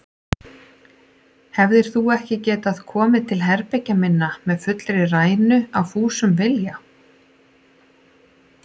Hefðir þú ekki getað komið til herbergja minna með fullri rænu, af fúsum vilja?